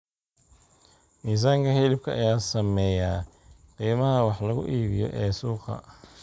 Miisaanka hilibka ayaa saameeya qiimaha wax lagu iibiyo ee suuqa.